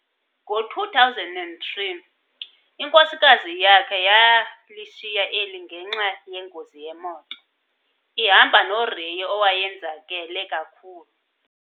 Ngo2003, inkosikazi yakhe yalishiya eli ngenxa yengozi yemoto, ihamba noRay owayenzakele kakhulu.